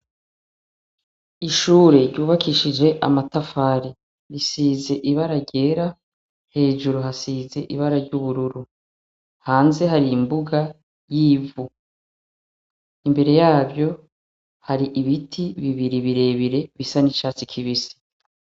Ishure ryubakishije amatafari, risize ibara ryera, hejuru hasize ibara ry'ubururu. Hanze hari imbuga y'ivu, imbere yavyo hari ibiti birebire bisa n'icatsi kibisi.